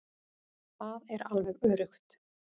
Það er alveg öruggt.